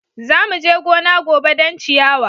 Za mu je gona gobe don ciyawa.